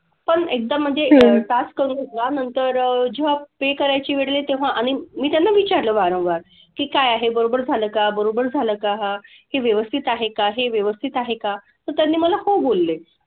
पण एकदा म्हणजे task करून वा नंतर जेव्हा pay करायची वेळ येईल तेव्हा आणि मी त्यांना विचारलं वारंवार की काय आहे बरोबर झालं का बरोबर झालं का? की व्यवस्थित आहे का की व्यवस्थित आहे का? तर त्यांनी मला हो बोलले.